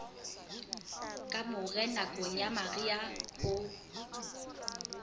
kamore nakong ya mariha ho